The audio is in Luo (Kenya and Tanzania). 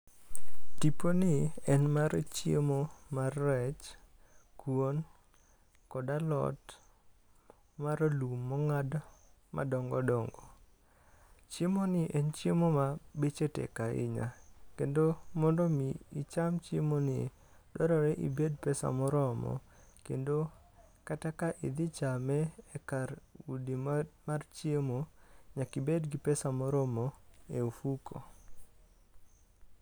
Tipo ni en mar chiemo mar rech kuon kod alot maralum mong'ad madongodongo. Chiemo ni en chiemo ma beche tek ahinya kendo mondo mi icham chiemo ni dwarore ibed gi pesa kendo kata ka idhi chame e kar udi mar chiemo, nyaki bed gi pesa moromo e ofuku.